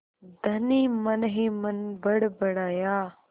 धनी मनहीमन बड़बड़ाया